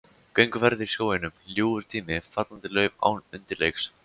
Gönguferðir í skóginum, ljúfur tími, fallandi lauf án undirleiks.